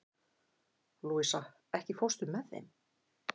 Louisa, ekki fórstu með þeim?